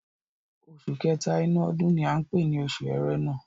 Oṣù kẹ́tà inú ọdún ni à ń pè ni oṣù Ẹrẹ̀nà.